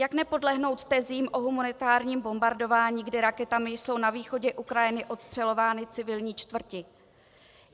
Jak nepodlehnout tezím o humanitárním bombardování, kdy raketami jsou na východě Ukrajiny ostřelovány civilní čtvrti?